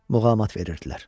Muğamat verirdilər.